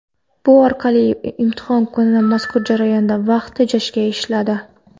Bu orqali imtihon kuni mazkur jarayonda vaqt tejashga erishiladi.